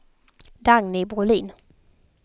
Dagny Brolin